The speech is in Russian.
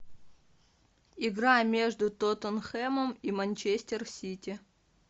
игра между тоттенхэмом и манчестер сити